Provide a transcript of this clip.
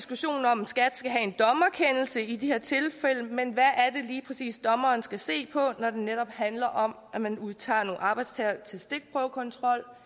om skat skal have en dommerkendelse i de her tilfælde men hvad er det lige præcis dommeren skal se på når det netop handler om at man udtager nogle arbejdstagere til stikprøvekontrol